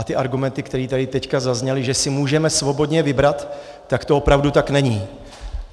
A ty argumenty, které tady teď zazněly, že si můžeme svobodně vybrat, tak to opravdu tak není.